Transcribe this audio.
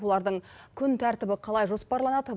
олардың күн тәртібі қалай жоспарланады